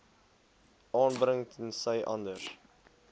aanbring tensy anders